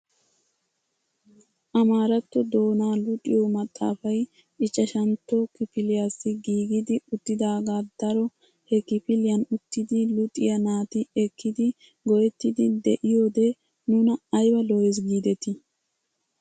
Amaraatto doonaa luxiyo maxaafay ichchashshantto kifiliyaassi giigidi uttidagaa daro he kifiliyaan uttidi luxiyaa naati ekkidi go"ettiidi de'iyoode nuna ayba lo"ees gidetii!